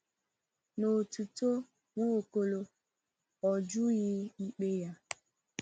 N’otuto Nwaokolo, ọ jụghị ikpe ya.